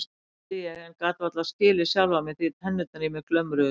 spurði ég en gat varla skilið sjálfa mig því tennurnar í mér glömruðu svo.